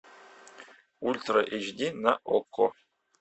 ультра эйч ди на окко